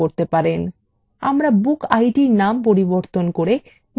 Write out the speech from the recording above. আমরা bookid নাম পরিবর্তন করে mediaid করব